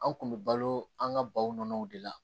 An kun bɛ balo an ka baw nɔnɔw de la